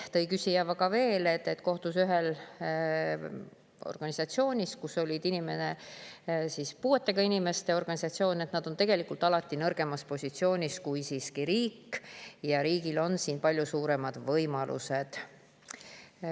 Küsija tõi veel näite, et kui kohtus on ühel puuetega inimeste organisatsioon, siis nad on tegelikult alati nõrgemas positsioonis kui riik ja riigil on palju suuremad võimalused.